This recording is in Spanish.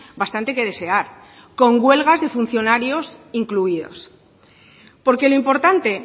bastante que desear con huelgas de funcionarios incluidos porque lo importante